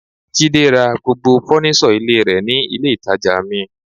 Jide ra gbogbo fọ́nísọ̀ ilé rẹ̀ ní ilé ìtàjà mi.